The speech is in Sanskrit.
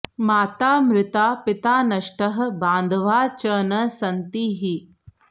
माता मृता पिता नष्टः बान्धवाः च न सन्ति हि